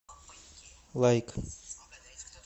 лайк